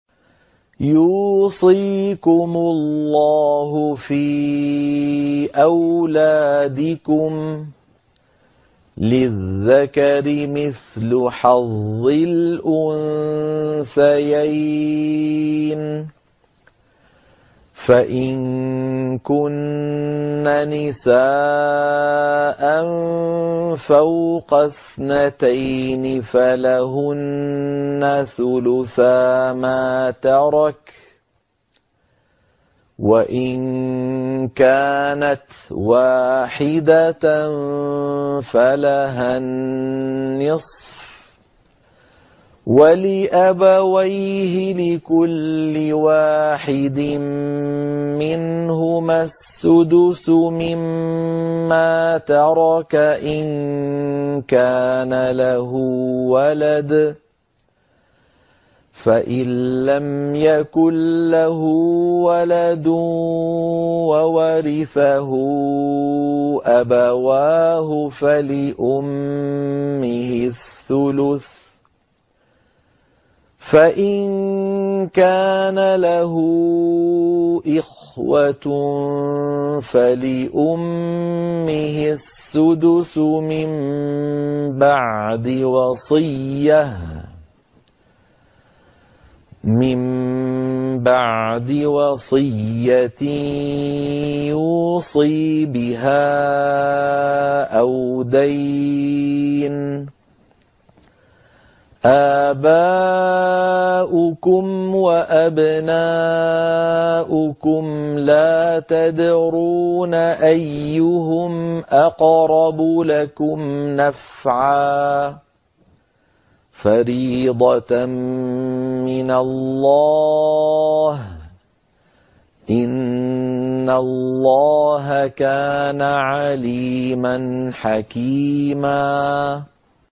يُوصِيكُمُ اللَّهُ فِي أَوْلَادِكُمْ ۖ لِلذَّكَرِ مِثْلُ حَظِّ الْأُنثَيَيْنِ ۚ فَإِن كُنَّ نِسَاءً فَوْقَ اثْنَتَيْنِ فَلَهُنَّ ثُلُثَا مَا تَرَكَ ۖ وَإِن كَانَتْ وَاحِدَةً فَلَهَا النِّصْفُ ۚ وَلِأَبَوَيْهِ لِكُلِّ وَاحِدٍ مِّنْهُمَا السُّدُسُ مِمَّا تَرَكَ إِن كَانَ لَهُ وَلَدٌ ۚ فَإِن لَّمْ يَكُن لَّهُ وَلَدٌ وَوَرِثَهُ أَبَوَاهُ فَلِأُمِّهِ الثُّلُثُ ۚ فَإِن كَانَ لَهُ إِخْوَةٌ فَلِأُمِّهِ السُّدُسُ ۚ مِن بَعْدِ وَصِيَّةٍ يُوصِي بِهَا أَوْ دَيْنٍ ۗ آبَاؤُكُمْ وَأَبْنَاؤُكُمْ لَا تَدْرُونَ أَيُّهُمْ أَقْرَبُ لَكُمْ نَفْعًا ۚ فَرِيضَةً مِّنَ اللَّهِ ۗ إِنَّ اللَّهَ كَانَ عَلِيمًا حَكِيمًا